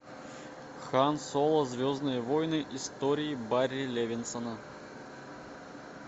хан соло звездные войны истории барри левинсона